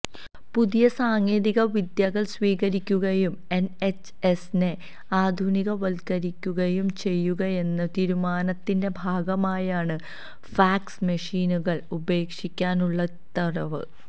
പുതിയ സാങ്കേതിക വിദ്യകള് സ്വീകരിക്കുകയും എന്എച്ച്എസിനെ ആധുനികവല്ക്കരിക്കുകയും ചെയ്യുകയെന്ന തീരുമാനത്തിന്റെ ഭാഗമായാണ് ഫാക്സ് മെഷിനുകള് ഉപേക്ഷിക്കാനുള്ള ഉത്തരവും